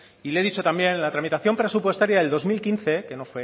y le he dicho también en la tramitación presupuestaria del dos mil quince que no